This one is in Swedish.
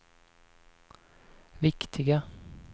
viktiga